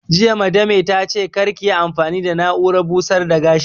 Jiya Madame ta ce 'Kar kiyi amfani da na'urar busar da gashi'!